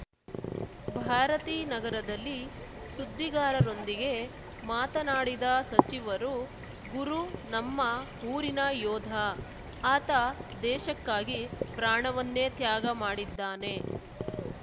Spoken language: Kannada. ಭಾರತೀನಗರದಲ್ಲಿ ಸುದ್ದಿಗಾರರೊಂದಿಗೆ ಮಾತನಾಡಿದ ಸಚಿವರು ಗುರು ನಮ್ಮ ಊರಿನ ಯೋಧ ಆತ ದೇಶಕ್ಕಾಗಿ ಪ್ರಾಣವನ್ನೇ ತ್ಯಾಗ ಮಾಡಿದ್ದಾನೆ